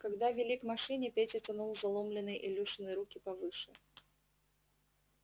когда вели к машине петя тянул заломленные илюшины руки повыше